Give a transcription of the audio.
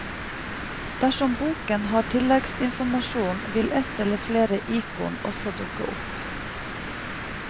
Dersom boken har tillegginformasjon vil et eller flere ikon også dukke opp.